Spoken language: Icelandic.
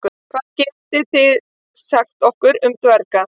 Hvað getið þið sagt okkur um dverga?